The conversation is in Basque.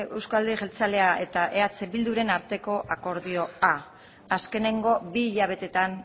euzko alderdi jeltzalea eta eh bilduren arteko akordioa azkenengo bi hilabeteetan